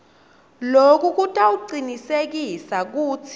loku kutawucinisekisa kutsi